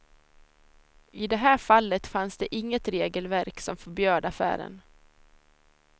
I det här fallet fanns det inget regelverk som förbjöd affären.